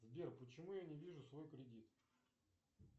сбер почему я не вижу свой кредит